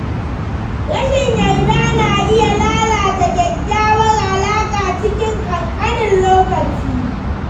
Rashin yarda na iya lalata kyakkyawar alaƙa cikin kankanin lokaci.